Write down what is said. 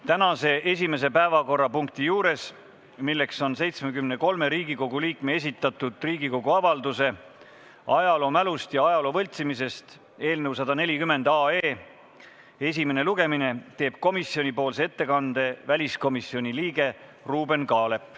Tänase esimese päevakorrapunkti, 73 Riigikogu liikme esitatud Riigikogu avalduse "Ajaloomälust ja ajaloo võltsimisest" eelnõu 140 esimesel lugemisel teeb komisjoni ettekande väliskomisjoni liige Ruuben Kaalep.